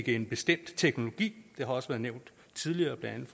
en bestemt teknologi det har også været nævnt tidligere blandt